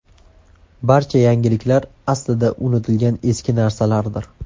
Barcha yangiliklar aslida unutilgan eski narsalardir.